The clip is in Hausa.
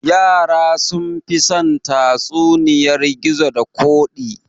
Yara sunfi son tatsuniyar gizo da koɗi